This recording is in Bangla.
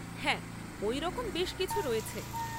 হ্যাঁ, ওই রকম বেশ কিছু রয়েছে।